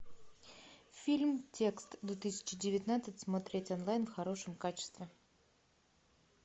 фильм текст две тысячи девятнадцать смотреть онлайн в хорошем качестве